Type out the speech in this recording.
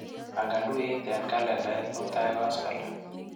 Pangan tuiyet eng kalendait mutai koskoliny.